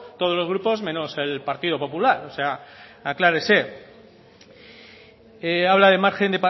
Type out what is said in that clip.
todos los grupos menos el partido popular o sea aclárese habla de margen